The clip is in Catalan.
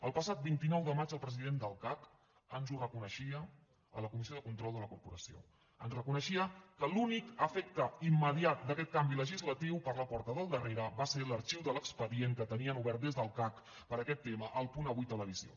el passat vint nou de maig el president del cac ens ho reconeixia a la comissió de control de la corporació ens reconeixia que l’únic efecte immediat d’aquest canvi legislatiu per la porta del darrere va ser l’arxiu de l’expedient que tenien obert des del cac per aquest tema a el punt avui televisió